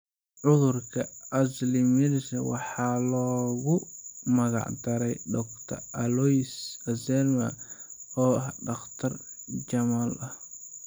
Cudurka Alzheimers waxaa loogu magac daray Dr. Alois Alzheimer, oo ah dhakhtar Jarmal ah.